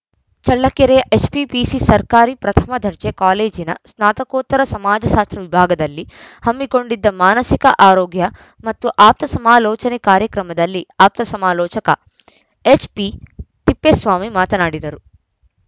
ಚಳ್ಳಕೆರೆಯ HPPC ಸರ್ಕಾರಿ ಪ್ರಥಮ ದರ್ಜೆ ಕಾಲೇಜಿನ ಸ್ನಾತಕೋತ್ತರ ಸಮಾಜಶಾಸ್ತ್ರ ವಿಭಾಗದಲ್ಲಿ ಹಮ್ಮಿಕೊಂಡಿದ್ದ ಮಾನಸಿಕ ಆರೋಗ್ಯ ಮತ್ತು ಆಪ್ತ ಸಮಾಲೋಚನೆ ಕಾರ್ಯಕ್ರಮದಲ್ಲಿ ಆಪ್ತ ಸಮಾಲೋಚಕ ಎಚ್‌ಪಿತಿಪ್ಪೇಸ್ವಾಮಿ ಮಾತನಾಡಿದರು